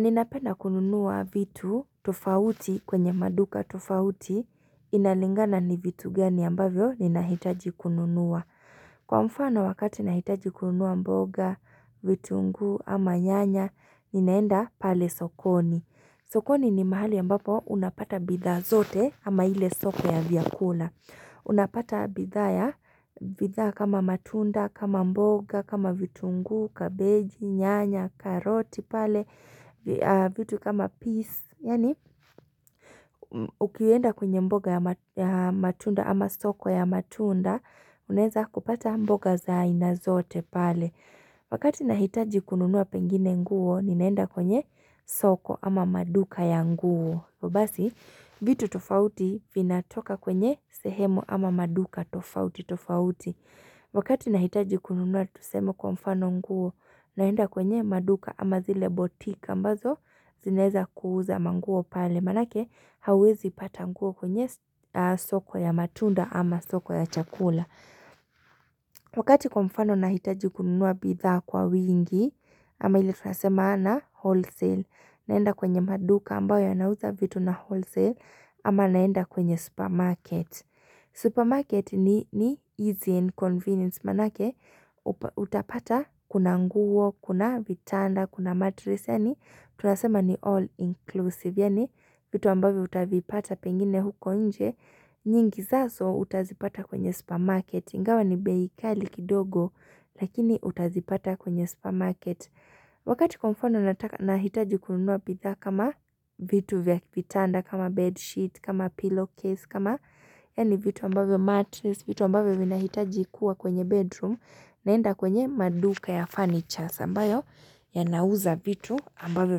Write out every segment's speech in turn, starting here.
Ninapenda kununua vitu tofauti kwenye maduka tofauti inalingana ni vitu gani ambavyo ninahitaji kununua. Kwa mfano wakati nahitaji kununua mboga, vitunguu ama nyanya, ninaenda pale sokoni. Sokoni ni mahali ambapo unapata bidhaa zote ama ile sope ya vyakula. Unapata bidhaa ya, bidhaa kama matunda, kama mboga, kama vitunguu, kabeji, nyanya, karoti pale, vitu kama peas ukienda kwenye mboga ya ya matunda ama soko ya matunda, unaeza kupata mboga za iana zote pale Wakati nahitaji kununuwa pengine nguo, ninaenda kwenye soko ama maduka ya nguo hivyo basi, vitu tofauti vinatoka kwenye sehemu ama maduka tofauti tofauti Wakati nahitaji kununua tuseme kwa mfano nguo naenda kwenye maduka ama zile boutique ambazo zinaeza kuuza manguo pale Manake hauwezi pata nguo kwenye soko ya matunda ama soko ya chakula Wakati kwa mfano nahitaji kununua bidhaa kwa wingi ama ili tunasema na wholesale naenda kwenye maduka ambayo yanauza vitu na wholesale ama naenda kwenye supermarket. Supermarket ni ni easy and convenience manake. Utapata kuna nguo, kuna vitanda, kuna matris. Yani tunasema ni all inclusive. Yani vitu ambayo utavipata pengine huko nje. Nyingi zazo utazipata kwenye supermarket. iNgawa ni bei kali kidogo lakini utazipata kwenye supermarket. Wakati kwa mfano nahitaji kununua bidha kama vitu vya kitanda kama bedsheet kama pillowcase kama yani vitu ambavyo matris vitu ambavyo vinahitaji kuwa kwenye bedroom naenda kwenye maduka ya furniture ambayo yanauza vitu ambavyo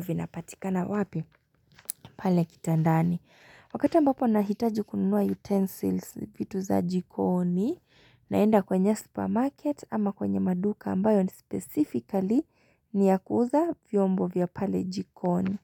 vinapatikana wapi pale kitandani. Wakati ambapo nahitaji kununua utensils vitu za jikoni naenda kwenye supermarket ama kwenye maduka ambayo ni specifically ni ya kuuza vyombo vya pale jikoni.